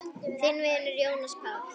Þinn vinur, Jónas Páll.